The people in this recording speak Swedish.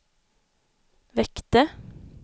väckte